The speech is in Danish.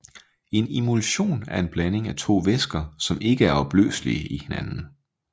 En emulsion er en blanding af to væsker som ikke er opløselige i hinanden